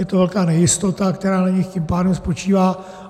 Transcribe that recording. Je to velká nejistota, která na nich tím pádem spočívá.